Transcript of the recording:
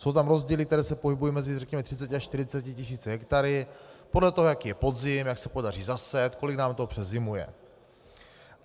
Jsou tam rozdíly, které se pohybují mezi, řekněme, 30 až 40 tisíci hektary podle toho, jaký je podzim, jak se podaří zasít, kolik nám toho přezimuje.